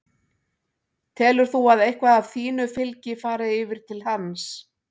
Telur þú að eitthvað af þínu fylgi fari yfir til hans?